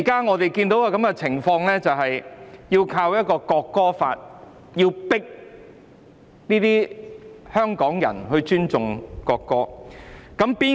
我們現在看到的情況是用《條例草案》強迫香港人尊重國歌。